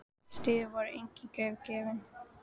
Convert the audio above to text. Í stríði voru engin grið gefin.